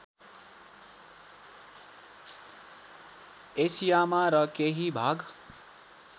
एसियामा र केही भाग